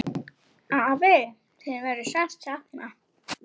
Afi, þín verður sárt saknað.